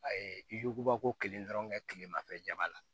A ye bako kelen dɔrɔn kɛ kilemafɛ jamana la